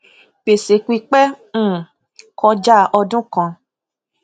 gbèsè pípẹ um kọjá ọdún kan